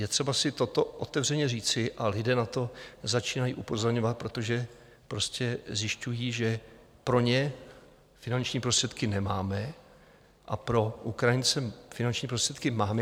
Je třeba si toto otevřeně říci a lidé na to začínají upozorňovat, protože zjišťují, že pro ně finanční prostředky nemáme a pro Ukrajince finanční prostředky máme.